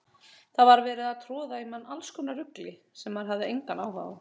Það var verið að troða í mann allskonar rugli sem maður hafði engan áhuga á.